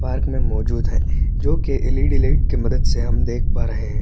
Park में मौजूद है जो कि एल. ई. डी. लाइट की मदद से हम देख पा रहै हैं।